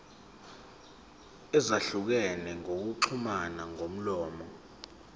ezahlukene zokuxhumana ngomlomo